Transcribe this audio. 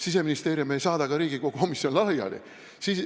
Siseministeerium ei saada ka Riigikogu komisjone laiali.